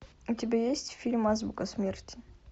у тебя есть фильм азбука смерти